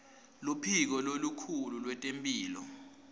luphiko lolukhulu lwetemphilo